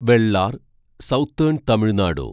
Vellar southern Tamil Nadu